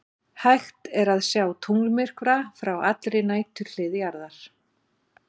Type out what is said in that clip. Hægt er að sjá tunglmyrkva frá allri næturhlið jarðar.